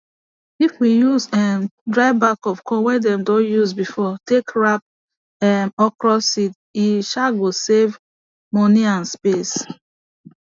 if we use um dry back of corn wey dem don use before take wrap um okra seed e um go save money and space